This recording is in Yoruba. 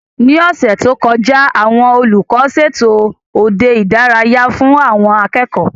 Ní ọ̀sẹ̀ tó kọjá, àwọn olùkọ́ ṣètò òde ìdárayá fún àwọn akẹ́kọ̀ọ́